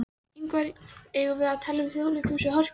Ívar Ingimarsson: Eigum við að tala um Þjóðleikhúsið, Hörpu?